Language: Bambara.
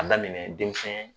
An daminɛ den